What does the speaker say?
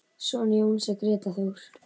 Sonur Jóns er Grétar Þór.